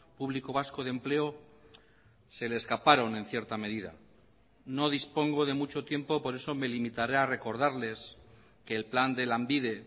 público vasco de empleo se le escaparon en cierta medida no dispongo de mucho tiempo por eso me limitaré a recordarles que el plan de lanbide